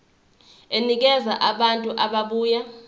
enikeza abantu ababuya